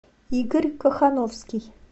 игорь кохановский